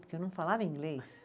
Porque eu não falava inglês.